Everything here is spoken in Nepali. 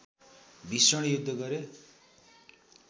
भिषण युद्ध गरे